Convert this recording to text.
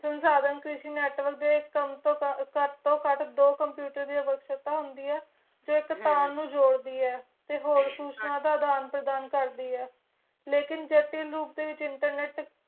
ਸੁਨਸਾੜੇਂ ਕ੍ਰਿਸ਼ੀ network network ਦੇ ਕਟ ਤੂੰ ਕਟ ਦੋ computer ਦੀਆ ਵਰਕਸ਼ੋਪ ਹੋਂਦਿਆ ਜੋ ਅਹ ਟੇਕਣ ਜੋਰਡੀਏ ਤੇ ਹੋਰ ਹਮ ਸੂਚਨਾ ਦਾ ਦਾਨ ਪ੍ਰਦਾਨ ਕਰਦਿਆਂ ਲੇਕੁਨ ਜਾਤੀਂ ਰੂਪ ਦੇ ਵਿਚ internet